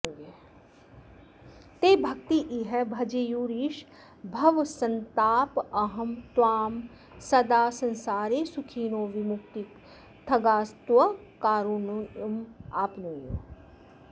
ते भक्त्येह भजेयुरीश भवसन्तापापहं त्वां सदा संसारे सुखिनो विमुक्तिपथगास्त्वत्कारुणीमाप्नुयुः